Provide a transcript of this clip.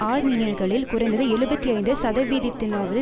ஆர்மீனியர்களில் குறைந்தது எழுபத்தி ஐந்து சதவீதத்தினாவது